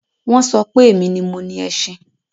Wọ́n so pé èmi ni mo ni ẹṣin.